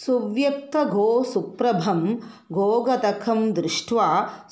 सुव्यक्तगोऽसुप्रभं गोगतकं दृष्ट्वा